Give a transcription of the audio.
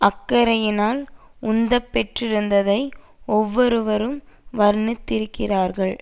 அக்கறையினால் உந்தப்பெற்றிருந்ததை ஒவ்வொருவரும் வர்ணித்திருக்கிறார்கள்